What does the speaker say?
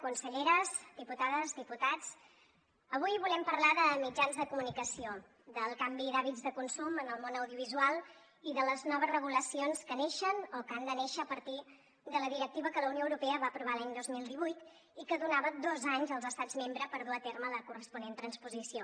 conselleres diputades diputats avui volem parlar de mitjans de comunicació del canvi d’hàbits de consum en el món audiovisual i de les noves regulacions que neixen o que han de néixer a partir de la directiva que la unió europea va aprovar l’any dos mil divuit i que donava dos anys als estats membres per dur a terme la corresponent transposició